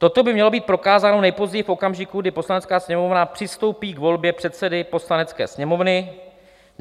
Toto by mělo být prokázáno nejpozději v okamžiku, kdy Poslanecká sněmovna přistoupí k volbě předsedy Poslanecké sněmovny.